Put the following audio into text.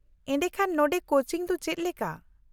-ᱮᱰᱮᱠᱷᱟᱱ ᱱᱚᱰᱮ ᱠᱳᱪᱤᱝ ᱫᱚ ᱪᱮᱫ ᱞᱮᱠᱟ ?